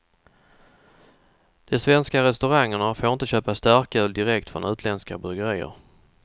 De svenska restaurangerna får inte köpa starköl direkt från utländska bryggerier.